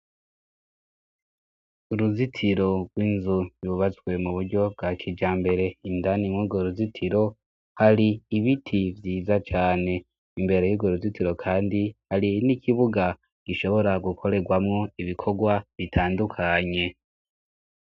Uruzitiro rw'inzu yubazwe mu buryo bwa kija mbere indaninwurwo ruzitiro hari ibiti vyiza cane imbere y'uro ruzitiro, kandi hari n' ikibuga gishobora gukorerwamwo ibikorwa bitandukanye.